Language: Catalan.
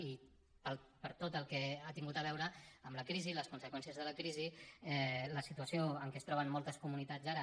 i per tot el que ha tingut a veure amb la crisi i les conseqüències de la crisi la situació amb què es troben moltes comunitats ara